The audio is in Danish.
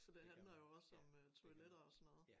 Så det handler jo også om øh toiletter og sådan noget